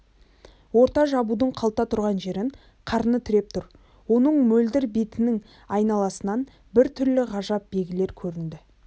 орта жабудың қалта тұрған жерін қарыны тіреп тұр оның мөлдір бетінің айналасынан біртүрлі ғажап белгілер көрінді